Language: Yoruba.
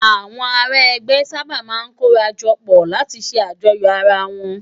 Awòn àrá ègbè sàbá má n kóràjòpò látì sè àjòyó àrá wòn